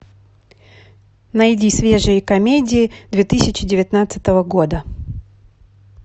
найди свежие комедии две тысячи девятнадцатого года